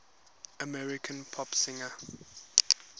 american pop singers